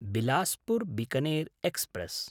Bilaspur Bikaner express